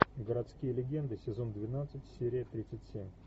городские легенды сезон двенадцать серия тридцать семь